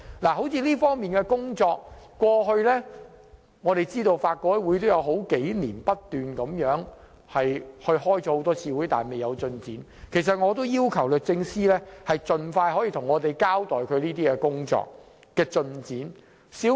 以這方面的工作為例，我們知道法改會過去數年不斷討論，但一直未有進展，我要求律政司司長盡快向我們交代相關工作進展。